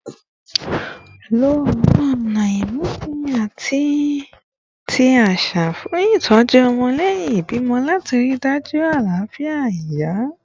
Lo awọn ọna imusin ati ti aṣa fun itọju ọmọ lẹhin ibimọ lati rii daju alafia iya